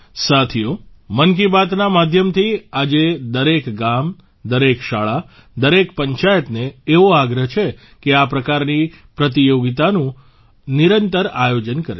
સાથીઓ મન કી બાતના માધ્યમથી આજે દરેક ગામ દરેક શાળા દરેક પંચાયતને એવો આગ્રહ છે કે આ પ્રકારની પ્રતિયોગિતાઓનું નિરંતર આયોજન કરે